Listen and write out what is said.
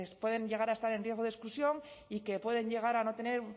pueden llegar a estar en riesgo de exclusión y que pueden llegar a no tener